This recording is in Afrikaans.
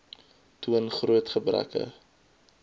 toon groot gebreke